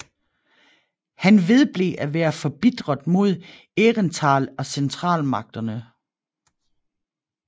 Han vedblev at være forbitret mod Aehrenthal og Centralmagterne